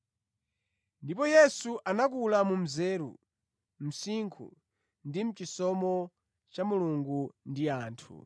Ndipo Yesu anakula mu nzeru, msinkhu ndi chisomo cha Mulungu ndi anthu.